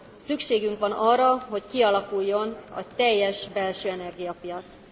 Szükségünk van arra, hogy kialakuljon a teljes belső energiapiac.